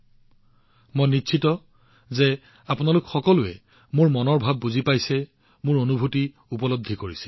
কিন্তু মই নিশ্চিত যে আপোনালোক সকলোৱে মোৰ অভিব্যক্তি বুজি পাব মোৰ অনুভূতি বুজি পাব